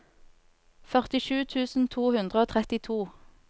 førtisju tusen to hundre og trettito